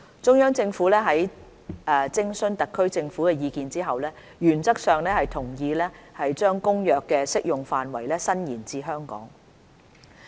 中央政府在徵詢特區政府的意見後，原則上同意把《公約》的適用範圍延伸至香港。